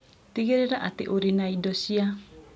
Tigĩrĩra atĩ ũrĩ na indo cia